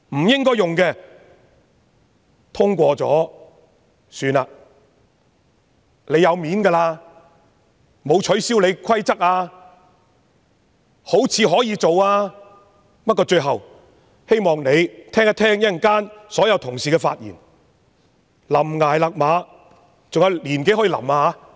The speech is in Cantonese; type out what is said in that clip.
政府已經很有面子，其規則沒有被取消，看來可以執行，不過最後，希望政府稍後聆聽一下所有同事的發言，懸崖勒馬。